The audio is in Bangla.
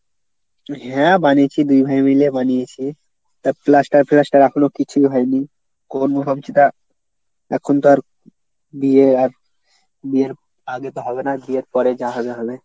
হ্যাঁ বানিয়েছি দুই ভাই মিলে বানিয়েছি। তা plaster ফ্লাস্টার এখনো কিছু হয়নি হবে সেটা এখন তো আর বিয়ে আর বিয়ের আগে তো হবে না বিয়ের পরে যা হয় হবে।